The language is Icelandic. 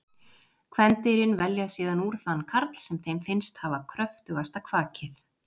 kvendýrin velja síðan úr þann karl sem þeim finnst hafa kröftugasta kvakið